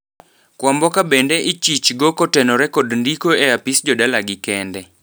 Kwamboka bende ichich go kotenore kod ndiko e apis jodala gi kende.